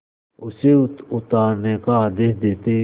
उसे उतारने का आदेश देते